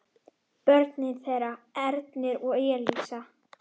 Börn þeirra: Ernir og Elísa.